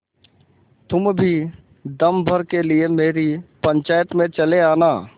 तुम भी दम भर के लिए मेरी पंचायत में चले आना